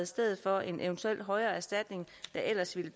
stedet for en eventuel højere erstatning der ellers ville